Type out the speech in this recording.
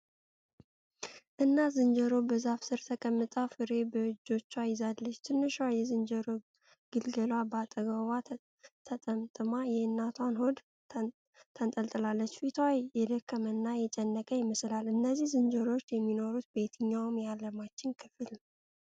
እናት ዝንጀሮ በዛፍ ስር ተቀምጣ ፍሬ በእጆቿ ይዛለች። ትንሿ የዝንጀሮ ግልገሏ በአጠገቧ ተጠምጥማ የእናቷን ሆድ ተንጠልጥላለች። ፊቷ የደከመና የጨነቀ ይመስላል። እነዚህ ዝንጀሮዎች የሚኖሩት በየትኛው የዓለማችን ክፍል ነው?